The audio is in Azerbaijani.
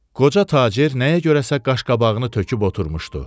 Qoca tacir nəyə görəsə qaşqabağını töküb oturmuşdu.